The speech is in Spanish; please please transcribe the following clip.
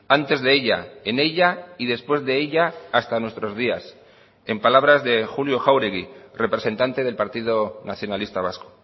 antes de ella en ella y después de ella hasta nuestros días en palabras de julio jáuregui representante del partido nacionalista vasco